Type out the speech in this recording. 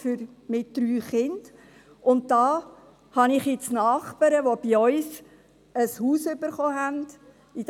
Hier habe ich nun Nachbarn, die bei uns in der Halensiedlung ein Haus bekommen haben.